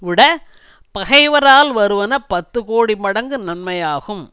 விட பகைவரால் வருவன பத்துகோடி மடங்கு நன்மையாகும்